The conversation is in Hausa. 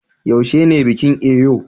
yaushe ne bikin Eyo